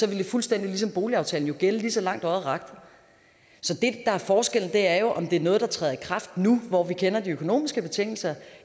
ville det fuldstændig ligesom boligaftalen jo gælde lige så langt øjet rakte så det er forskellen er jo om det er noget der træder i kraft nu hvor vi kender de økonomiske betingelser